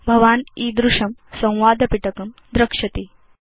भवान् ईदृशं संवाद पिटकं द्रक्ष्यति